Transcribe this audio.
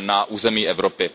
na území Evropy.